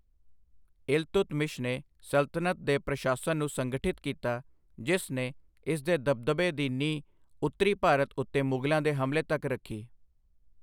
ਇਲਤੁਤਮਿਸ਼ ਨੇ ਸਲਤਨਤ ਦੇ ਪ੍ਰਸ਼ਾਸਨ ਨੂੰ ਸੰਗਠਿਤ ਕੀਤਾ, ਜਿਸ ਨੇ ਇਸ ਦੇ ਦਬਦਬੇ ਦੀ ਨੀਂਹ ਉੱਤਰੀ ਭਾਰਤ ਉੱਤੇ ਮੁਗ਼ਲਾਂ ਦੇ ਹਮਲੇ ਤੱਕ ਰੱਖੀ।